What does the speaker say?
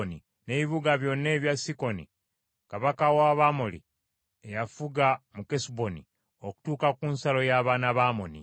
n’ebibuga byonna ebya Sikoni kabaka w’Abamoli, eyafuga mu Kesuboni, okutuuka ku nsalo y’abaana ba Amoni.